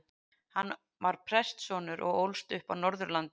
Hann var prestssonur og ólst upp á Norðurlandi.